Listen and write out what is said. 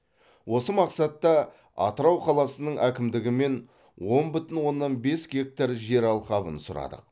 осы мақсатта атырау қаласының әкімдігімен он бүтін оннан бес гектар жер алқабын сұрадық